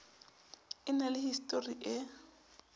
e na le histori e